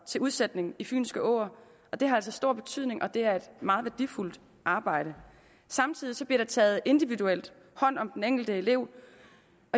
til udsætning i fynske åer og det har altså stor betydning og det er et meget værdifuldt arbejde samtidig bliver der taget individuelt hånd om den enkelte elev